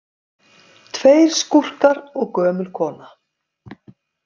Tveir skúrkar og gömul kona